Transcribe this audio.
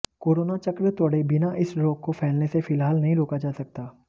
corona चक्र तोड़े बिना इस रोग को फैलने से फिलहाल नहीं रोका जा सकता